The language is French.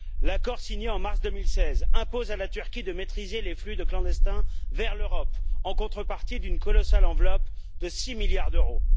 L'accord signé en mars 2016 impose à la Turquie de maîtriser les flux de clandestins vers l'Europe, en contrepartie d'une colossale enveloppe de six milliards d'euros.